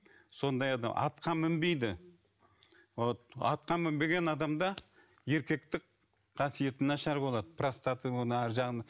сондай атқа мінбейді вот атқа мінбеген адамда еркектік қасиеті нашар болады простаты